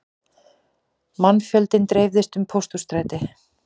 Mannfjöldinn dreifðist um Pósthússtræti